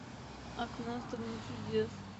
окно в страну чудес